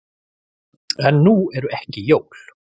En nú eru ekki jól.